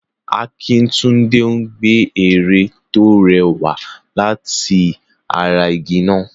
Akintunde ń gbẹ ère tó rẹwà láti ara igi náà.